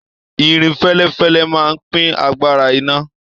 Irin fẹlẹfẹlẹ máa n pin àgbàrá iná.